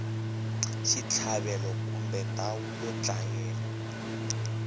xitlhavelo kumbe ndhawu yo dlayela